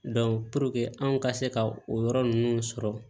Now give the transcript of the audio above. anw ka se ka o yɔrɔ ninnu sɔrɔ